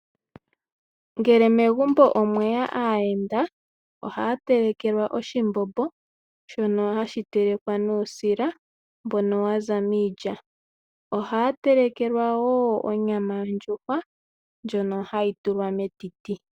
Ngele megumbo omweya aayenda ohaya telekelwa oshimbombo shono hashi telekwa nuusila mbono waza miilya. Ohaya telekelwa wo onyama yondjuhwa ndjono hayi tulwa metiti.